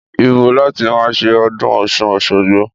Ìbó làtí mà sẹ ọdún ọsún òṣogbo?